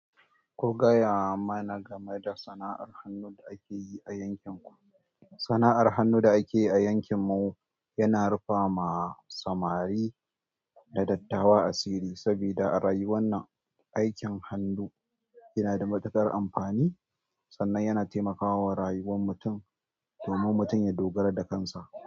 Ku gaya mana game da sana'ar hannu da ake yi a yankin ku. Sana'ar hannu da ake yi a yankin mu yana rufa ma samari da dattawa asiri saboda aikin hannu yana da matuƙar amfani sannan yana taimakawa rayuwar mutum domin mutum ya dogara da kansa.